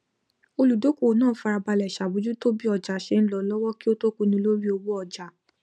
olùdókòwò náà farabalẹ ṣàbójútó bí ọjà ṣe ń lọ lọwọ kí ó tó pinnu lórí owó ọjà